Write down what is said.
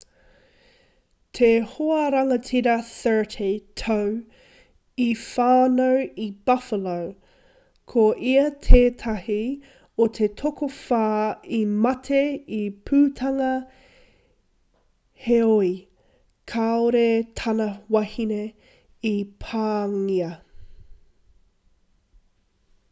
te hoarangatira 30 tau i whānau i buffalo ko ia tētahi o te tokowhā i mate i te pūtanga heoi kāore tana wahine i pāngia